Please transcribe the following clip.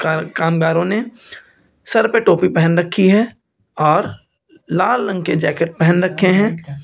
Car कामगारों ने सर पे टोपी पहन रखी हैं और लाल रंग के जैकेट पहन रखे हैं।